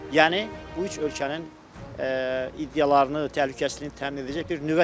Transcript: Yəni bu üç ölkənin iddialarını təhlükəsizliyini təmin edəcək bir nüvə çətiri də var.